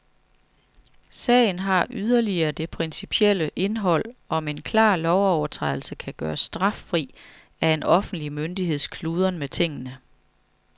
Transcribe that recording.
Sagen har yderligere det principielle indhold, om en klar lovovertrædelse kan gøres straffri af en offentlig myndigheds kludren med tingene.